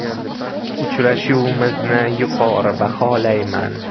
Uchrashuvimizni yuqori baholayman.